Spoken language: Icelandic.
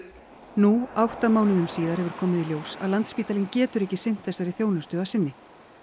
nú átta mánuðum síðar hefur komið í ljós að Landspítalinn getur ekki sinnt þessari þjónustu að sinni